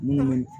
Munnu